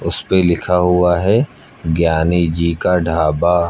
उसपे लिखा हुआ है ज्ञानी जी का ढाबा।